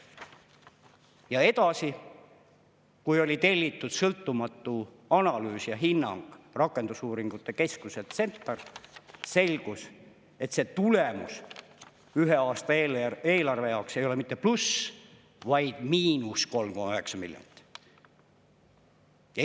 Ja edasi, kui oli tellitud sõltumatu analüüs ja hinnang rakendusuuringute keskuselt CentAR, selgus, et see tulemus ühe aasta eelarve jaoks ei ole mitte pluss, vaid miinus 3,9 miljardit.